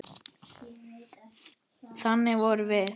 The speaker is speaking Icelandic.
Þannig vorum við.